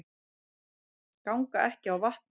Ganga ekki á vatni